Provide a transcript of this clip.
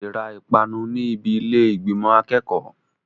O lè ra ìpanu ní ibi ilé ìgbìmò akẹ́kọ̀ọ́.